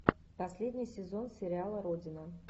последний сезон сериала родина